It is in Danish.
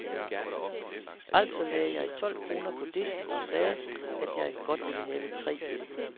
Altså lagde jeg tolv kroner på disken og sagde, at jeg godt ville have tre øl.